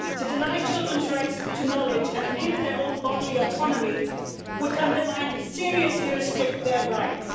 To deny children's right to knowledge and inhibit their own bodily autonomy would undermine and seriously restrict their rights.